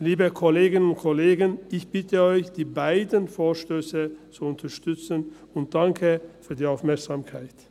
Liebe Kolleginnen und Kollegen, ich bitte Sie, diese beiden Vorstösse zu unterstützen, und danke für die Aufmerksamkeit.